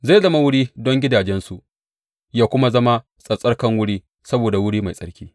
Zai zama wuri don gidajensu ya kuma zama tsattsarkan wuri saboda wuri mai tsarki.